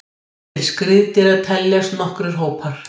Til skriðdýra teljast nokkrir hópar.